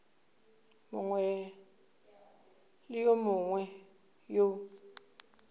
mongwe le yo mongwe yo